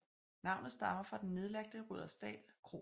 Navnet stammer fra den nedlagte Rudersdal Kro